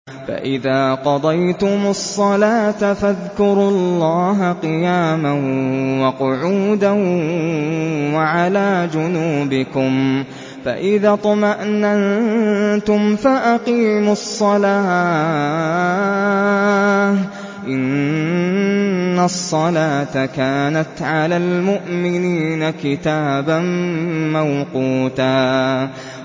فَإِذَا قَضَيْتُمُ الصَّلَاةَ فَاذْكُرُوا اللَّهَ قِيَامًا وَقُعُودًا وَعَلَىٰ جُنُوبِكُمْ ۚ فَإِذَا اطْمَأْنَنتُمْ فَأَقِيمُوا الصَّلَاةَ ۚ إِنَّ الصَّلَاةَ كَانَتْ عَلَى الْمُؤْمِنِينَ كِتَابًا مَّوْقُوتًا